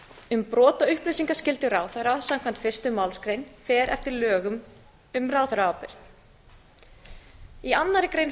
um brot á upplýsingaskyldu ráðherra samkvæmt fyrstu málsgrein fer eftir lögum um ráðherraábyrgð í annarri grein